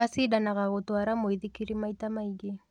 Acindanaga gũtwara mũithikiri maita maingĩ.